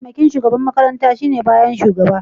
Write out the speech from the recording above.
Mataimakin shugaban makaranta shine na bayan da shugaba.